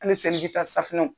Hali selijita safunɛw